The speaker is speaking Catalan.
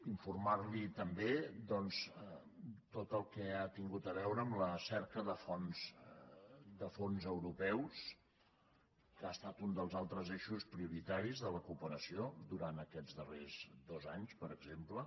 informarla també de tot el que ha tingut a veure amb la cerca de fons europeus que ha estat un dels altres eixos prioritaris de la cooperació durant aquests darrers dos anys per exemple